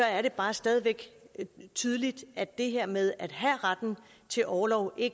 er det bare stadig væk tydeligt at det her med at have retten til orlov